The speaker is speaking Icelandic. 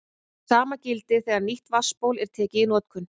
Hið sama gildir þegar nýtt vatnsból er tekið í notkun.